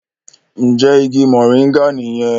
Njé ìgi Moringa niyen?